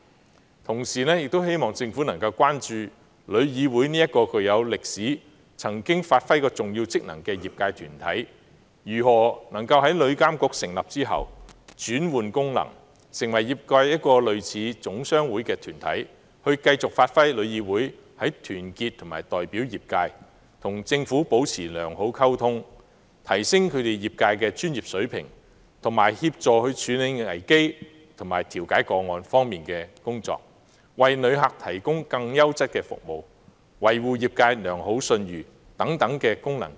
與此同時，我亦希望政府能關注旅議會這一個具有歷史、曾經發揮重要職能的業界團體，如何能夠在旅監局成立後轉換其功能，成為類似總商會的業界團體，繼續發揮其在團結及代表業界，與政府保持良好溝通，提升業界專業水平，協助處理危機和調解個案方面的工作，為旅客提供更優質的服務，維護業界良好信譽等功能。